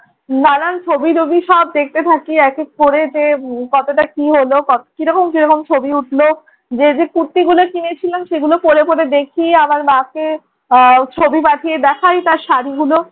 নানান ছবি টবি সব দেখতে থাকি এক এক করে যে কতটা কি হলো, কি রকম কি রকম ছবি উঠলো। যে যে কুর্তিগুলো কিনে কিনেছিলাম সেগুলো পড়ে পড়ে দেখি আবার মাকে আহ ছবি পাঠিয়ে দেখাই তার শাড়িগুলো।